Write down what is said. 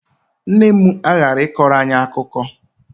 Nne m aghaghị ịkọrọ anyị akụkọ!